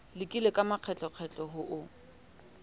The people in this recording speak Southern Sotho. lekile ka makgetlokgetlo ho o